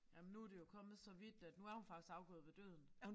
Jamen nu det jo kommet så vidt at nu er hun faktisk afgået ved døden